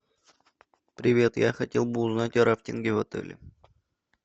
привет я хотел бы узнать о рафтинге в отеле